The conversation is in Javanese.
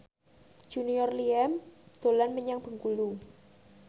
Junior Liem dolan menyang Bengkulu